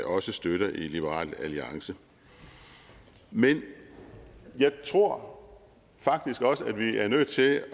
også støtter i liberal alliance men jeg tror faktisk også at vi er nødt til at